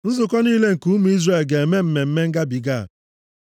Nzukọ niile nke ụmụ Izrel ga-eme Mmemme Ngabiga a.